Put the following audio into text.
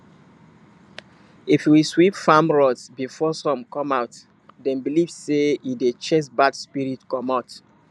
if you sweep farm road before sun come out dem believe sey e dey chase bad spirit commot